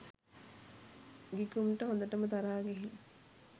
ගිගුම්ට හොඳටම තරහ ගිහින්